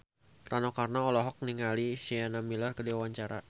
Rano Karno olohok ningali Sienna Miller keur diwawancara